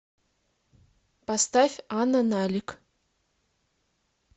поставь анна налик